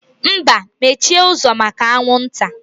Mba, mechie ụzọ maka anwụ nta